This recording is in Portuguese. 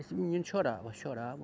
Esse menino chorava, chorava.